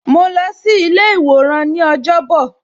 Ma lọ sí ilé iworan ni ọjọ́ bọ̀